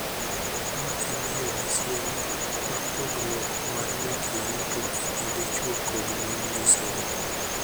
Ma en yo machielo ma pogruok mar weche yuto e kind chwo kod mon nyisore.